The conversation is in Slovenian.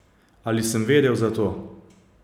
Ali sem vedel za to?